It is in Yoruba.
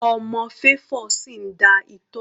Ọmọ Favour sì ń da itọ́.